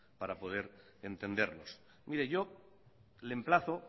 para poder entendernos mire yo le emplazo